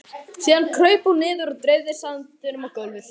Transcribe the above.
Síðan kraup hún niður og dreifði sandinum á gólfið.